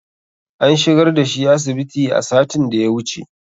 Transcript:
An shigar da shi asibiti a satin da ya wuche.